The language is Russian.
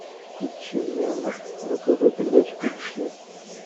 включи мне на тв передачу би би си